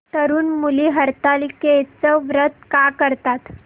तरुण मुली हरतालिकेचं व्रत का करतात